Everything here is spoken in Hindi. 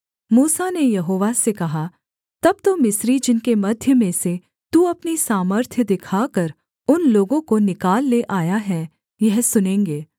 मूसा ने यहोवा से कहा तब तो मिस्री जिनके मध्य में से तू अपनी सामर्थ्य दिखाकर उन लोगों को निकाल ले आया है यह सुनेंगे